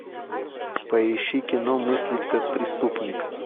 поищи кино мыслить как преступник